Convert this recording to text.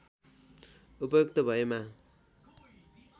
उपयुक्त भएमा